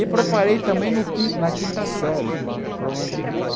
E preparei também no quin na quinta série para o para o Bandeirantes.